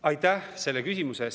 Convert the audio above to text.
Aitäh selle küsimuse eest!